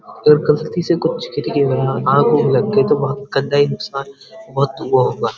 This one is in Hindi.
और गलती से कुछ गिर गया आग-उग्ग लग गई तो बहुत नुकसान होगा।